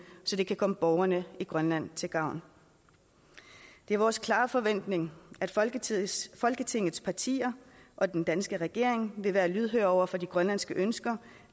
så det kan komme borgerne i grønland til gavn det er vores klare forventning at folketingets folketingets partier og den danske regering vil være lydhør over for de grønlandske ønsker